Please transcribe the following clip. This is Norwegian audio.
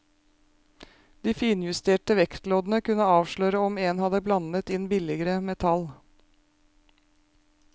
De finjusterte vektloddene kunne avsløre om en hadde blandet inn billigere metall.